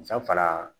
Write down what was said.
San fara